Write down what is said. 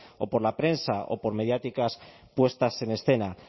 o por la prensa o por mediáticas puestas en escena